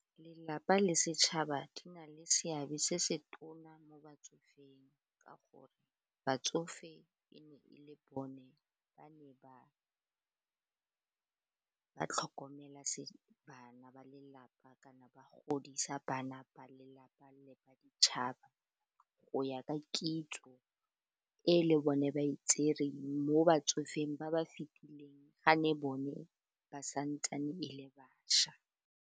Lelapa le setšhaba di na le seabe se se tona mo batsofeng ka gore batsofe e ne e le bone ba ne ba tlhokomela bana ba lelapa kana ba godisa bana ba lelapa le ba ditšhaba. Go ya ka kitso e le bone ba e tsereng mo batsofeng ba ba fitileng ga ne bone ba santsane e le bašwa.